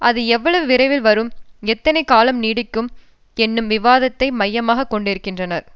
அது எவ்வளவு விரைவில் வரும் எத்தனை காலம் நீடிக்கும் என்னும் விவாதத்தை மையமாக கொண்டிருக்கின்றனர்